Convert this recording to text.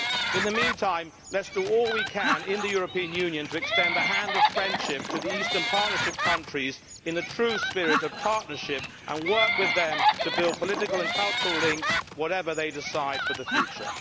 In the meantime, let us do all we can in the European Union to extend the hand of friendship to the Eastern Partnership countries in the true spirit of partnership, and work with them to build political and cultural links, whatever they decide for the future.